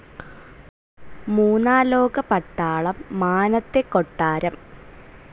മൂന്നാലോക പട്ടാളം, മാനത്തെ കൊട്ടാരം